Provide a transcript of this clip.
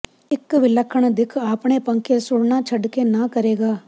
ਇੱਕ ਵਿਲੱਖਣ ਦਿੱਖ ਆਪਣੇ ਪੱਖੇ ਸੁਣਨਾ ਛੱਡ ਕੇ ਨਾ ਕਰੇਗਾ